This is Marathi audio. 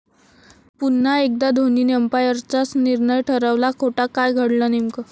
पुन्हा एकदा धोनीने अंपायरचाच निर्णय ठरवला खोटा, काय घडलं नेमकं?